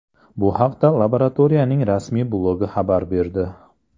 Bu haqda laboratoriyaning rasmiy blogi xabar berdi .